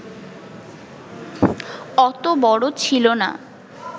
অত বড় ছিলনা